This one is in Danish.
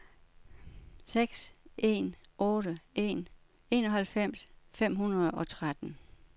seks en otte en enoghalvfems fem hundrede og tretten